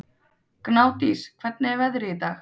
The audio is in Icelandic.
Gnádís, hvernig er veðrið í dag?